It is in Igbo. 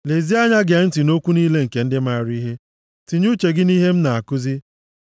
Lezie anya gee ntị nʼokwu niile nke ndị maara ihe, tinye uche gị nʼihe m na-akụzi.